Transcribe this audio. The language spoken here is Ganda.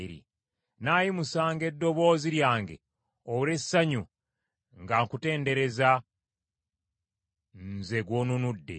Nnaayimusanga eddoboozi lyange olw’essanyu nga nkutendereza, nze gw’onunudde!